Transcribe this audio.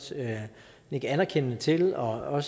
nikke anerkendende til og